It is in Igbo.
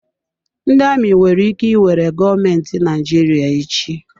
Ndị amị nwere ike iwere gọọmentị Naịjirịa echi.